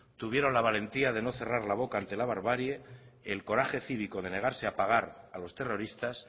tuvieron la valentía de no cerrar la boca ante la barbarie el coraje cívico de negarse a pagar a los terroristas